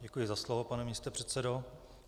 Děkuji za slovo, pane místopředsedo.